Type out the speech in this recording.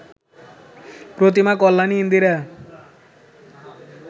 Pratima, Kalyani, Indira